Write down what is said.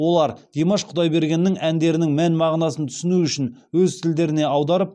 олар димаш құдайбергеннің әндерінің мән мағынасын түсіну үшін өз тілдеріне аударып